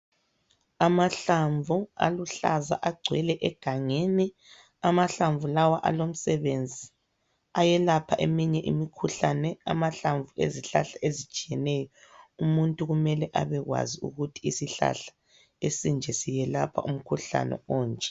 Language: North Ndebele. Amahlamvu aluhlaza agcwele egangeni. Amahlamvu lawa alomsebenzi, ayelapha eminye imikhuhlane, amahlamvu ezihlahla ezitshiyeneyo. Umuntu kumele abekwazi ukuthi isihlahla esinje siyelapha umkhuhlane onje.